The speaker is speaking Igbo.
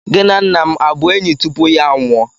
Gị na nna m abụ enyi tupu ya anwụọ?